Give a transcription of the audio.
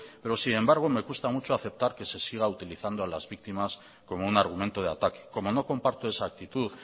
pero sin embargo me cuesta mucho aceptar que se siga utilizando a las víctimas como un argumento de ataque como no comparto esa actitud